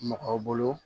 Mɔgɔw bolo